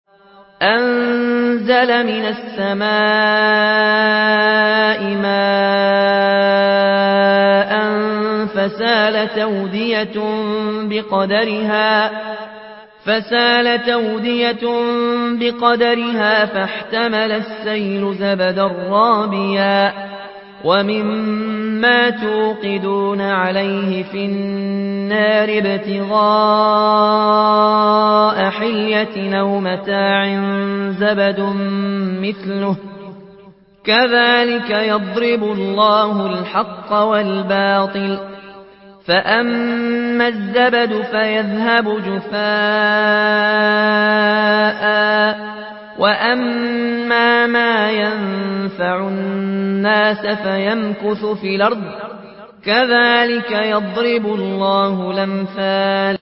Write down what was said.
أَنزَلَ مِنَ السَّمَاءِ مَاءً فَسَالَتْ أَوْدِيَةٌ بِقَدَرِهَا فَاحْتَمَلَ السَّيْلُ زَبَدًا رَّابِيًا ۚ وَمِمَّا يُوقِدُونَ عَلَيْهِ فِي النَّارِ ابْتِغَاءَ حِلْيَةٍ أَوْ مَتَاعٍ زَبَدٌ مِّثْلُهُ ۚ كَذَٰلِكَ يَضْرِبُ اللَّهُ الْحَقَّ وَالْبَاطِلَ ۚ فَأَمَّا الزَّبَدُ فَيَذْهَبُ جُفَاءً ۖ وَأَمَّا مَا يَنفَعُ النَّاسَ فَيَمْكُثُ فِي الْأَرْضِ ۚ كَذَٰلِكَ يَضْرِبُ اللَّهُ الْأَمْثَالَ